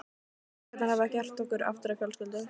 Minningarnar hafa gert okkur aftur að fjölskyldu.